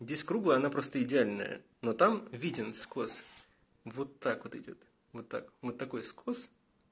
здесь круглая она просто идеальная но там виден скос вот так вот идёт вот так вот такой скос